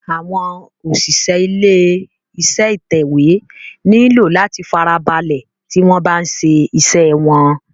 Àwọn òṣìṣẹ́ ilé iṣé ìtẹ̀wé nílò láti farabalẹ̀ tí wọ́n bá ń ṣe iṣé wọ́n.